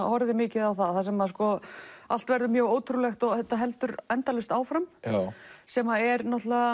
horfði mikið á það þar sem allt verður mjög ótrúlegt og þetta heldur endalaust áfram sem er